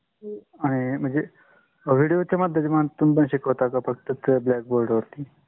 आणि म्हणजे video माध्यमातून तुह्मी पण शिकावता का फक्‍त blackboard वरती